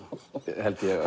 held ég